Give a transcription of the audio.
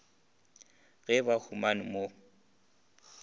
ge ba humane ka mo